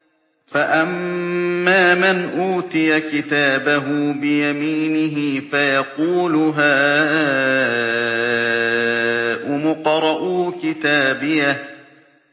فَأَمَّا مَنْ أُوتِيَ كِتَابَهُ بِيَمِينِهِ فَيَقُولُ هَاؤُمُ اقْرَءُوا كِتَابِيَهْ